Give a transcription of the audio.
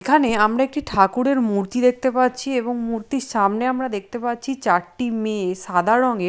এখানে আমরা একটি ঠাকুরের মূর্তি দেখতে পাচ্ছি এবং মূর্তির সামনে আমরা দেখতে পাচ্ছি চারটি মেয়ে সাদা রঙের--